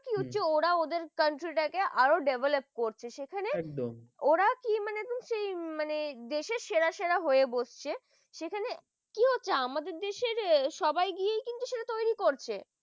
কি হচ্ছে? ওরা ওদের country টাকে আরো develop করেছে সেখানে একদম ওরা কি মানে সেই মানে দেশের সেরা সেরা হয়ে বসছে সেখানে কি হচ্ছে আমাদের দেশের সবাইকে কিন্তু তৈরি করছে